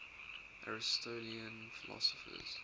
aristotelian philosophers